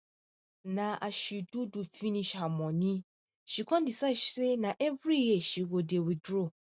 na as she doh doh finish her money she con decide say na every year she go dey withdraw